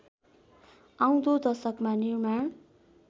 आउँदो दशकमा निर्माण